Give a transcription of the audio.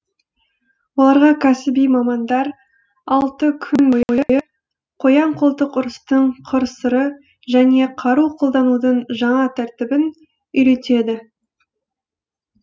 оларға кәсіби мамандар алты күн бойы қоян қолтық ұрыстың қыр сыры және қару қолданудың жаңа тәртібін үйретеді